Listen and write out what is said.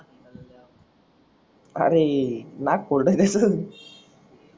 अरे नाक फोडल त्याच